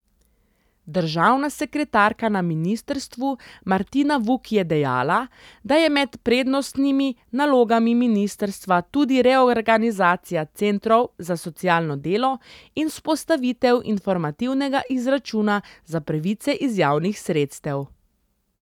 Državna sekretarka na ministrstvu Martina Vuk je dejala, da je med prednostnimi nalogami ministrstva tudi reorganizacija centrov za socialno delo in vzpostavitev informativnega izračuna za pravice iz javnih sredstev.